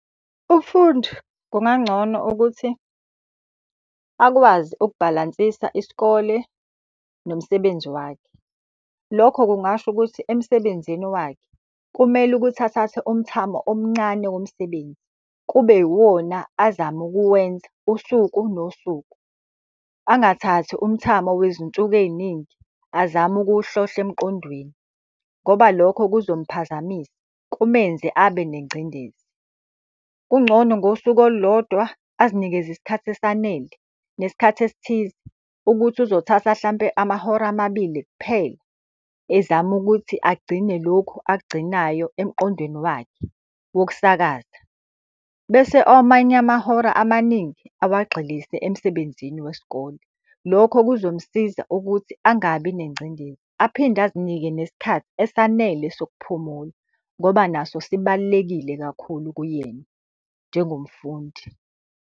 Umfundi kungangcono ukuthi akwazi ukubhalansisa isikole nomsebenzi wakhe. Lokho kungasho ukuthi emsebenzini wakhe kumele ukuthi athathe umthamo omncane womsebenzi, kube yiwona azama ukuwenza usuku nosuku. Angathathi umthamo wezinsuku ey'ningi azame ukuwuhlohla emqondweni, ngoba lokho kuzomuphazamisa kumenze abe nengcindezi. Kungcono ngosuku olulodwa azinikeze isikhathi esanele, nesikhathi esithize ukuthi uzothatha hlampe amahora amabili kuphela ezama ukuthi agcine lokhu akugcinayo emqondweni wakhe wokusakaza. Bese amanye amahora amaningi awagxilise emsebenzini wesikole. Lokho kuzomsiza ukuthi angabi nengcindezi aphinde azinike nesikhathi esanele sokuphumula. Ngoba naso sibalulekile kakhulu kuyena njengomfundi.